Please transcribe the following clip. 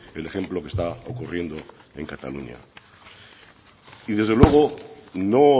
el ejemplo que está ocurriendo en cataluña y desde luego no